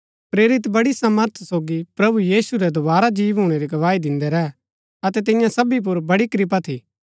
प्रेरित बड़ी सामर्थ सोगी प्रभु यीशु रै दोवारा जी भूणै री गवाही दिन्दै रैह अतै तियां सबी पुर बड़ी कृपा थी